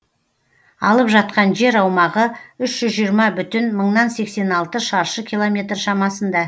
алып жатқан жер аумағы үш жүз жиырма бүтін мыңнан сексен алты шаршы километр шамасында